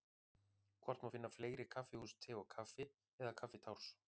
Hvort má finna fleiri kaffihús Te og Kaffi eða Kaffitárs?